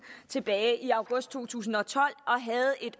tilbage i august to tusind og tolv